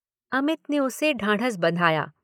अमित ने उसे ढाँढस बंधाया।